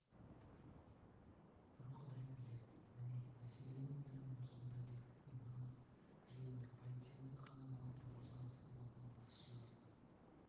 бір құдай біледі міне мәселенің бәрі осында деді иманов жиында полицейлерді қадағалауды босаңсытып алған басшыларды